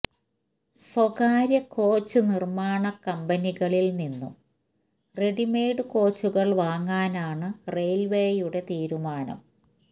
സ്വകാര്യകോച്ച് നിർമ്മാണ കമ്പനികളില് നിന്നും റെഡിമെയ്ഡ് കോച്ചുകൾ വാങ്ങാനാണ് റെയിൽവേയുടെ തീരുമാനം